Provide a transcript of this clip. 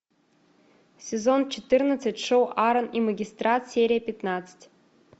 сезон четырнадцать шоу аран и магистрат серия пятнадцать